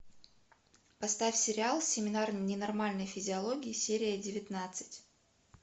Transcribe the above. поставь сериал семинар ненормальной физиологии серия девятнадцать